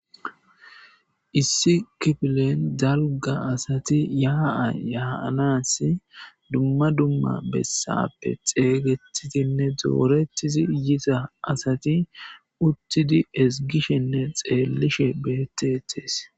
Issi kifilen dalga asati yaaa yaaanas dumma dumma bessappe xeeygetitinne doorettizi yita asati uttidi esgishenne xeellishe beettetees.